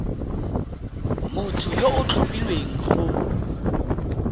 motho yo o tlhophilweng go